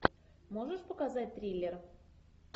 можешь показать триллер